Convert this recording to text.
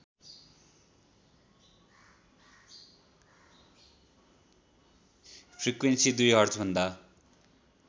frequency २ हर्जभन्दा